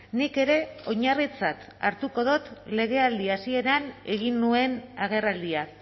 nik ere oinarritzat hartuko dut legealdi hasieran egin nuen agerraldia